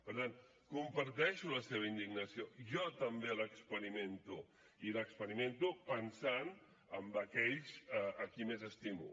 per tant comparteixo la seva indignació jo també l’experimento i l’experimento pensant en aquells a qui més estimo